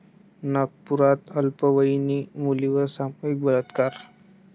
नागपुरात अल्पवयीन मुलीवर सामूहिक बलात्कार